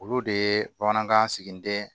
Olu de ye bamanankan siginiden